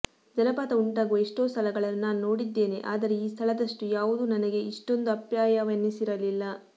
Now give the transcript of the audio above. ಜಲಪಾತ ಉಂಟಾಗುವ ಎಷ್ಟೋ ಸ್ಥಳಗಳನ್ನು ನಾನು ನೋಡಿದ್ದೇನೆ ಆದರೆ ಈ ಸ್ಥಳದಷ್ಟು ಯಾವುದೂ ನನಗೆ ಇಷ್ಟೊಂದು ಅಪ್ಯಾಯವೆನಿಸಿರಲಿಲ್ಲ